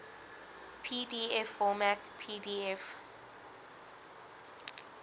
pdf format pdf